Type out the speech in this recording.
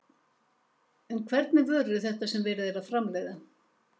En hvernig vörur eru þetta sem verið er að framleiða?